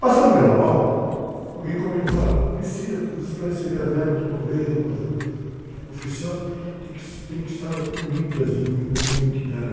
Passando o carnaval, alguém comentou, olha, precisa, falou, vocês para receber a verba do governo, ajuda oficial, tem que, tem que estar unidas em uma, em uma entidade.